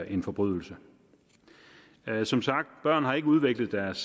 en forbrydelse som sagt børn har ikke udviklet deres